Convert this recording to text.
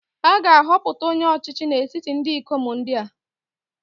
A ga-ahọpụta onye ọchịchị n’etiti ndị ikom ndị a